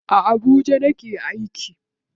A Abuja nake aiki.